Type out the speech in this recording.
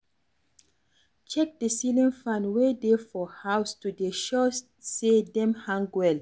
Check di ceiling fan wey dey for house to dey sure sey dem hang well